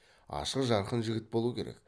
ашық жарқын жігіт болу керек